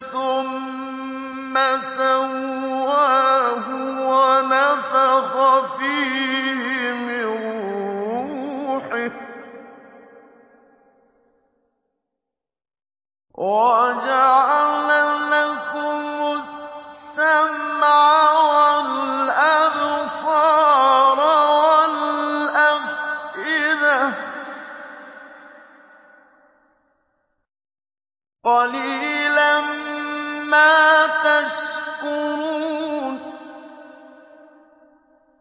ثُمَّ سَوَّاهُ وَنَفَخَ فِيهِ مِن رُّوحِهِ ۖ وَجَعَلَ لَكُمُ السَّمْعَ وَالْأَبْصَارَ وَالْأَفْئِدَةَ ۚ قَلِيلًا مَّا تَشْكُرُونَ